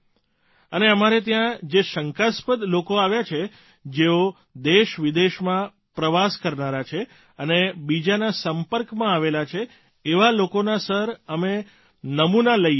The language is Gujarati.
અને અમારે ત્યાં જે શંકાસ્પદ લોકો આવ્યા છે જેઓ દેશવિદેશમાં પ્રવાસ કરનારા છે અને બીજાના સંપર્કમાં આવેલા છે એવા લોકોના સર અમે નમૂના લઇ લઇએ છીએ